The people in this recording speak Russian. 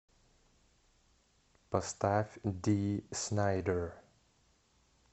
поставь ди снайдер